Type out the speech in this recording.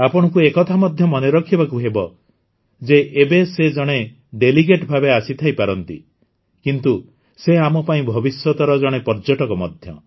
ଆପଣଙ୍କୁ ଏ କଥା ମଧ୍ୟ ମନେ ରଖିବାକୁ ହେବ ଯେ ଏବେ ସେ ଜଣେ ଡେଲିଗେଟ୍ ଭାବେ ଆସିଥାଇପାରନ୍ତି କିନ୍ତୁ ସେ ଆମ ପାଇଁ ଭବିଷ୍ୟତର ଜଣେ ପର୍ଯ୍ୟଟକ ମଧ୍ୟ